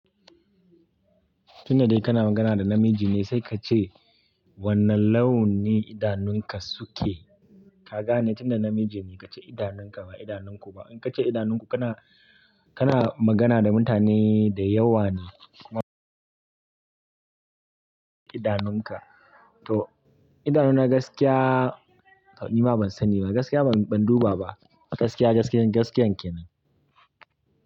Tunda dai kana magana da namiji ne sai ka ce. Wanna lau ne idanun ka suke. Ka gane? Tunda namiji ne ka ce idanunka ba idanunku ba. In ka ce idanunku kana, kana magana da mutane da yawa ne. Idanunka. To idanuna gaskiya ni ma ban sani ba, gaskiya ban, ban duba ba. A gaskiya, gaskiya, gaskiyan kenan.